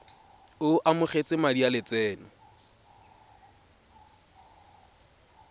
o amogetse madi a lotseno